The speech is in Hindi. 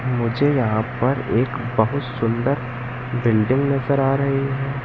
मुझे यहाँ पर एक बहुत सुंदर बिल्डिंग नजर आ रही हैं।